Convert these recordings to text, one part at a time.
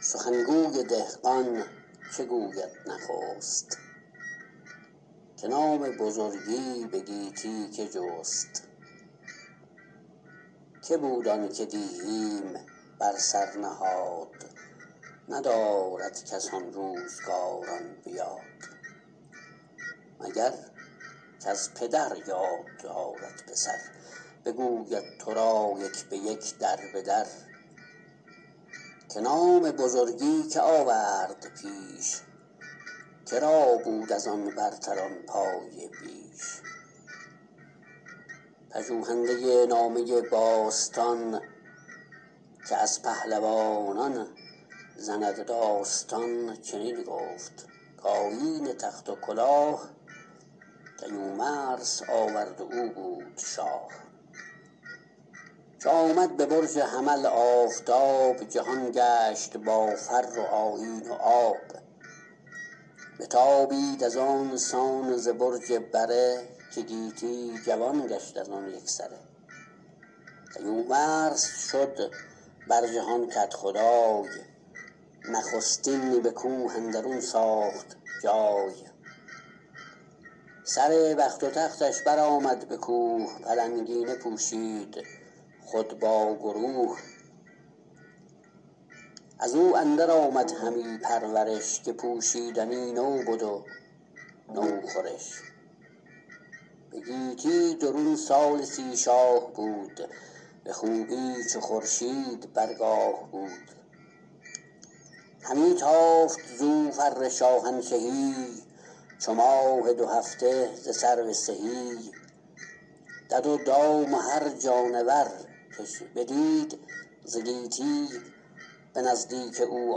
سخن گوی دهقان چه گوید نخست که نام بزرگی به گیتی که جست که بود آن که دیهیم بر سر نهاد ندارد کس آن روزگاران به یاد مگر کز پدر یاد دارد پسر بگوید تو را یک به یک در به در که نام بزرگی که آورد پیش که را بود از آن برتران پایه بیش پژوهنده نامه باستان که از پهلوانان زند داستان چنین گفت کآیین تخت و کلاه کیومرث آورد و او بود شاه چو آمد به برج حمل آفتاب جهان گشت با فر و آیین و آب بتابید از آن سان ز برج بره که گیتی جوان گشت از آن یک سره کیومرث شد بر جهان کدخدای نخستین به کوه اندرون ساخت جای سر بخت و تختش بر آمد به کوه پلنگینه پوشید خود با گروه از او اندر آمد همی پرورش که پوشیدنی نو بد و نو خورش به گیتی درون سال سی شاه بود به خوبی چو خورشید بر گاه بود همی تافت زو فر شاهنشهی چو ماه دو هفته ز سرو سهی دد و دام و هر جانور کش بدید ز گیتی به نزدیک او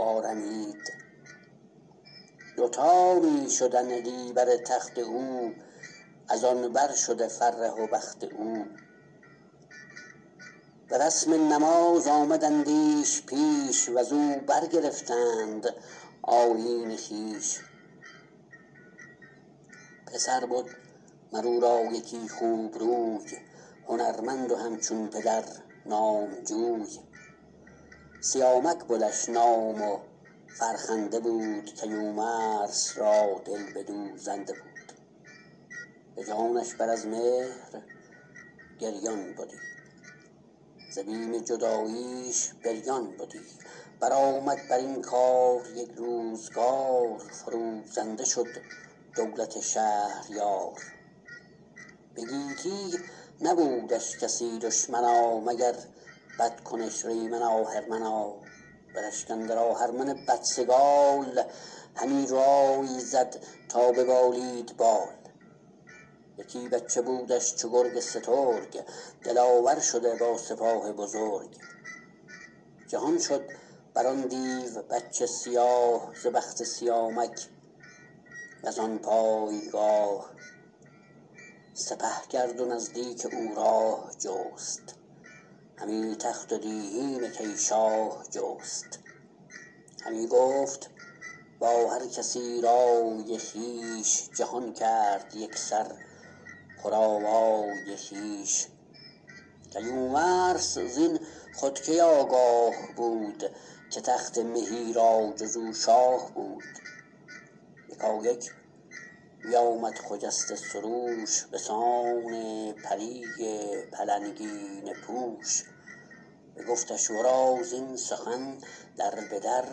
آرمید دوتا می شدندی بر تخت او از آن بر شده فره و بخت او به رسم نماز آمدندیش پیش و ز او برگرفتند آیین خویش پسر بد مر او را یکی خوب روی هنرمند و همچون پدر نامجوی سیامک بدش نام و فرخنده بود کیومرث را دل بدو زنده بود به جانش بر از مهر گریان بدی ز بیم جداییش بریان بدی بر آمد بر این کار یک روزگار فروزنده شد دولت شهریار به گیتی نبودش کسی دشمنا مگر بدکنش ریمن آهرمنا به رشک اندر آهرمن بدسگال همی رای زد تا ببالید بال یکی بچه بودش چو گرگ سترگ دلاور شده با سپاه بزرگ جهان شد بر آن دیو بچه سیاه ز بخت سیامک و زان پایگاه سپه کرد و نزدیک او راه جست همی تخت و دیهیم کی شاه جست همی گفت با هر کسی رای خویش جهان کرد یک سر پر آوای خویش کیومرث زین خود کی آگاه بود که تخت مهی را جز او شاه بود یکایک بیامد خجسته سروش به سان پری پلنگینه پوش بگفتش ورا زین سخن در به در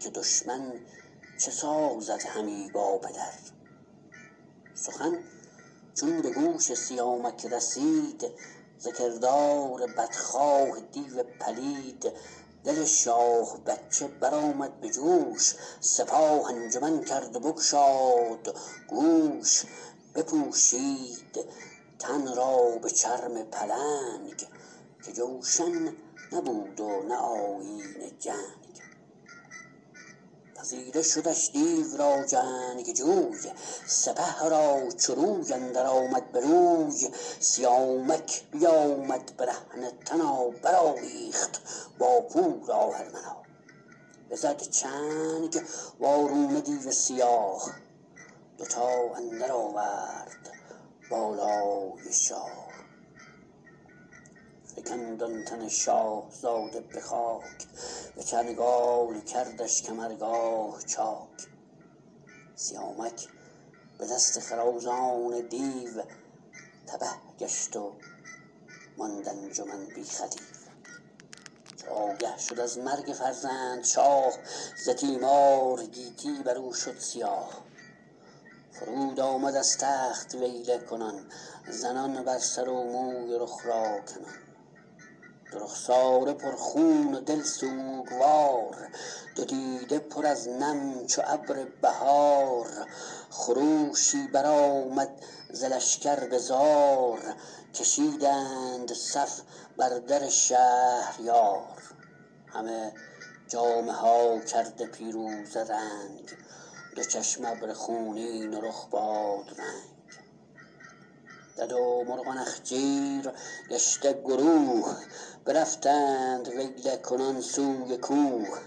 که دشمن چه سازد همی با پدر سخن چون به گوش سیامک رسید ز کردار بدخواه دیو پلید دل شاه بچه بر آمد به جوش سپاه انجمن کرد و بگشاد گوش بپوشید تن را به چرم پلنگ که جوشن نبود و نه آیین جنگ پذیره شدش دیو را جنگجوی سپه را چو روی اندر آمد به روی سیامک بیامد برهنه تنا بر آویخت با پور آهرمنا بزد چنگ وارونه دیو سیاه دوتا اندر آورد بالای شاه فکند آن تن شاهزاده به خاک به چنگال کردش کمرگاه چاک سیامک به دست خروزان دیو تبه گشت و ماند انجمن بی خدیو چو آگه شد از مرگ فرزند شاه ز تیمار گیتی بر او شد سیاه فرود آمد از تخت ویله کنان زنان بر سر و موی و رخ را کنان دو رخساره پر خون و دل سوگوار دو دیده پر از نم چو ابر بهار خروشی بر آمد ز لشکر به زار کشیدند صف بر در شهریار همه جامه ها کرده پیروزه رنگ دو چشم ابر خونین و رخ بادرنگ دد و مرغ و نخچیر گشته گروه برفتند ویله کنان سوی کوه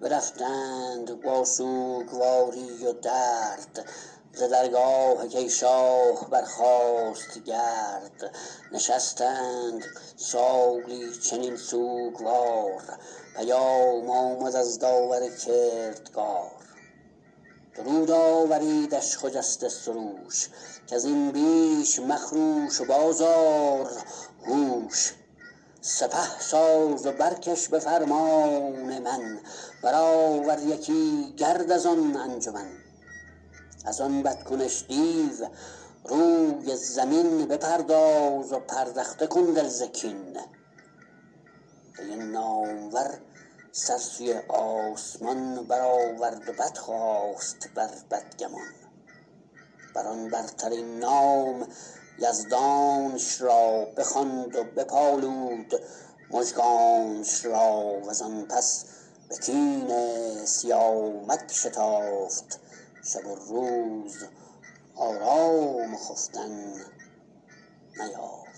برفتند با سوگواری و درد ز درگاه کی شاه برخاست گرد نشستند سالی چنین سوگوار پیام آمد از داور کردگار درود آوریدش خجسته سروش کز این بیش مخروش و باز آر هوش سپه ساز و برکش به فرمان من بر آور یکی گرد از آن انجمن از آن بد کنش دیو روی زمین بپرداز و پردخته کن دل ز کین کی نامور سر سوی آسمان بر آورد و بدخواست بر بدگمان بر آن برترین نام یزدانش را بخواند و بپالود مژگانش را و زان پس به کین سیامک شتافت شب و روز آرام و خفتن نیافت